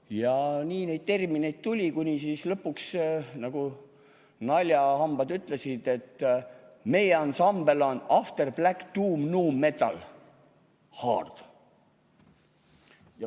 Ja nii neid termineid tuli, kuni lõpuks naljahambad ütlesid, et meie ansambel on afterblacktombmetalhard.